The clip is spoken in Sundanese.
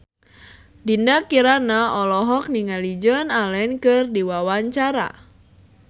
Dinda Kirana olohok ningali Joan Allen keur diwawancara